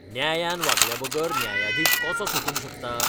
न्यायान वागल्याबगर न्यायाधीश कसो सुटूंक शकता?